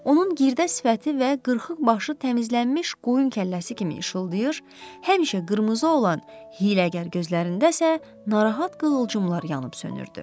Onun girdə sifəti və qırxıq başı təmizlənmiş qoyun kəlləsi kimi işıldayır, həmişə qırmızı olan hiyləgər gözlərində isə narahat qığılcımlar yanıb sönürdü.